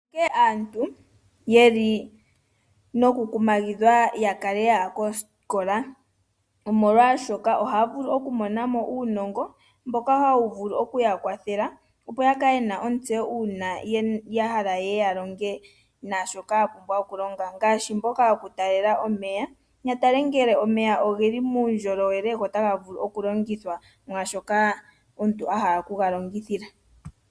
Aantu onkene taya kumagidhwa ya kale ya ya kosikola, oshoka aantu ohaya vulu okumona mo uunongo mboka hawu vulu oku ya kwathela, opo ya kale ye na ontseyo uuna ya hala ye ye ya longe naashoka ye na okulonga ngaashi mboka yokukonakona omeya, ya tale ngele omeya oge li muundjolowele notaga vulu okulongithwa mwaashoka omuntu a hala okuga longitha.